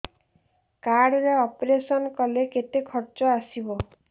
card ରେ operation କଲେ କେତେ ଖର୍ଚ ଆସିବ